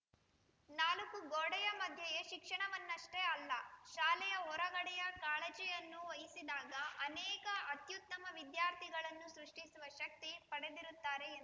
ನಾಲ್ಕೂ ಗೋಡೆಯ ಮಧ್ಯೆಯೇ ಶಿಕ್ಷಣವನ್ನಷ್ಠೇ ಅಲ್ಲ ಶಾಲೆಯ ಹೊರಗಡೆಯ ಕಾಳಜಿಯನ್ನು ವಹಿಸಿದಾಗ ಅನೇಕ ಅತ್ಯುತ್ತಮ ವಿದ್ಯಾರ್ಥಿಗಳನ್ನು ಸೃಷ್ಠಿಸುವ ಶಕ್ತಿ ಪಡೆಯುತ್ತಾರೆ ಎಂದರು